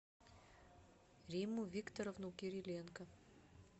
римму викторовну кириленко